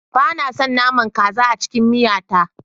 Ba na son naman kaza a cikin miya ta